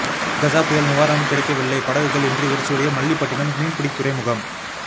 கஜா புயல் நிவாரணம் கிடைக்கவில்லை படகுகள் இன்றி வெறிச்சோடிய மல்லிப்பட்டிணம் மீன்பிடி துறைமுகம்